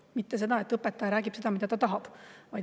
et õpetaja räägib seda, mida ta tahab.